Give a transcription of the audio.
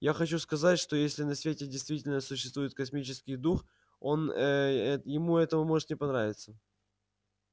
я хочу сказать что если на свете действительно существует космический дух он ээ ему это может не понравиться